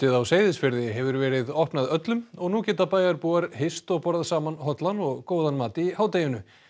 á Seyðisfirði hefur verið opnað öllum og nú geta bæjarbúar hist og borðað saman hollan og góðan mat í hádeginu